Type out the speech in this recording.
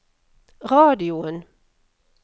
radioen